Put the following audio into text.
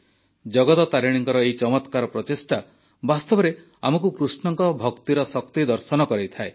ଜଗତ ତାରିଣୀଙ୍କ ଏହି ଚମତ୍କାର ପ୍ରଚେଷ୍ଟା ବାସ୍ତବରେ ଆମକୁ କୃଷ୍ଣଙ୍କ ଭକ୍ତିର ଶକ୍ତି ଦର୍ଶନ କରାଇଥାଏ